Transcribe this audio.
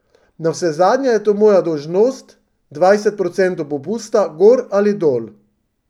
Navsezadnje je to moja dolžnost, dvajset procentov popusta gor ali dol.